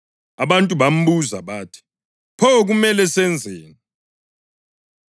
Abantu bambuza bathi, “Pho kumele senzeni?”